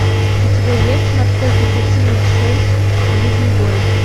у тебя есть морской пехотинец шесть ближний бой